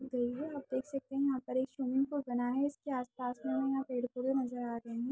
भईया आप देख सकते है यहाँ पर एक स्विमिंग पूल बना है इसके आस-पास में यहाँ पेड़-पौधे नज़र आ रहे है।